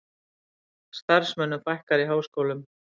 Starfsmönnum fækkar í háskólum